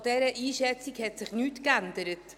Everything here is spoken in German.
An dieser Einschätzung hat sich nichts geändert.